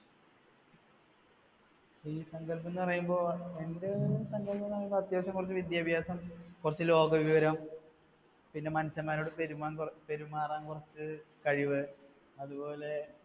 സ്‌ത്രീ സങ്കല്പം എന്നു പറയുമ്പോ, എന്‍ടെ സങ്കല്പം എന്ന് പറയുമ്പോൾ അത്യാവശ്യം കുറച്ച് വിദ്യാഭ്യാസം, കുറച്ച് ലോക വിവരം പിന്നെ മനുഷ്യന്മാരോട് പെരുമാന്‍ പെരുമാറാൻ കുറച്ച് കഴിവ്, അതുപോലെ